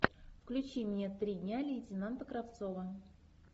включи мне три дня лейтенанта кравцова